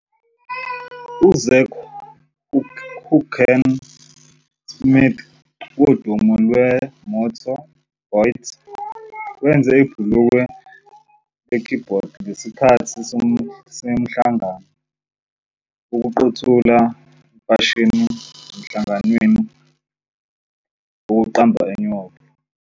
UZach "Hoeken" Smith wodumo lweMotBot wenza ibhulukwe lekhibhodi ngesikhathi semhlangano "Yokuqothula Imfashini" enhlanganweni yokuqamba eNew York City.